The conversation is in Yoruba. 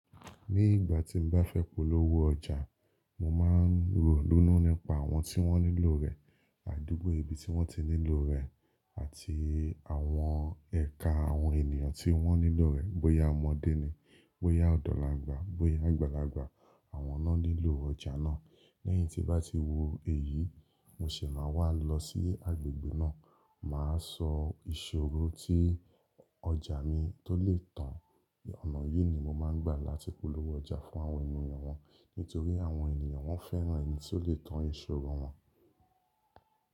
Ní ìgbà tí mo bá fẹ́ polówó ọjà, mo máa ń rònu nípa àwọn tí wọ́n nílò rẹ̀, àdúgbò ibi tí wọ́n ti nílò rẹ̀ àti àwọn ẹ̀ka àwọn ènìyàn tí wọ́n nílò rẹ̀. Bóyá ọmọdé ni, bóyá ọ̀dọ̀lagba, bóyà àgbàlagba. Àwọn na nilò ọjà náà. Lẹ́yìn tí bá ti wo èyí, mo sì máa wá lọ sí agbègbè náà. Máa sọ ìṣòro tí ọjà mi tó lè tàn. Ọ̀nà yìí ni mo máa ń gbà láti polówó ọjà fún àwọn ènìyàn wọn. Nítorí àwọn ènìyàn wọ́n fẹ́ràn ẹni tí ó lè tàn ìṣòro wọn.